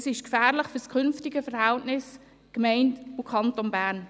Es ist gefährlich für das künftige Verhältnis zwischen Gemeinde und Kanton Bern.